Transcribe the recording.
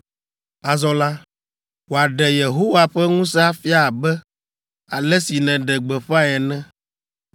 “Azɔ la, wòaɖe Yehowa ƒe ŋusẽ afia abe ale si nèɖe gbeƒãe ene: